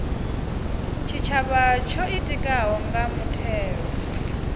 tshitshavha tsho ḓitikaho nga mutheo